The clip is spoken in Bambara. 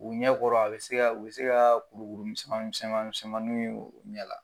U ɲɛ kɔrɔ a bɛ se ka u be se kaa kurukuru misɛman misɛman misɛmannunw ye u ɲɛ la.